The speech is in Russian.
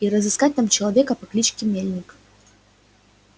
и разыскать там человека по кличке мельник